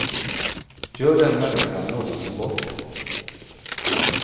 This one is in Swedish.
Gör den människan någonsin bort sig?